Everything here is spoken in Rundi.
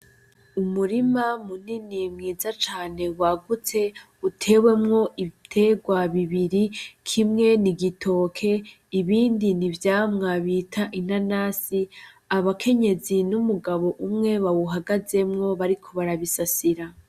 Umurima munini mwiza cane wagutse utewemwo ibiterwa bibiri kimwe ni igitoke ibindi ni ivyamwa bita inanasi abakenyezi n'umugabo umwe bawuhagazemwo bariko barabisasira.